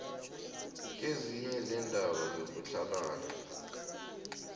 kezinye zeendaba zokutlhalana